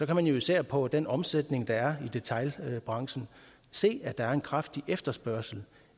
kan man jo især på den omsætning der er i detailbranchen se at der er en kraftig efterspørgsel